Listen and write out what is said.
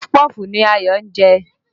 Pọfupọ́ọ̀fù ni Ayọ̀ ń jẹ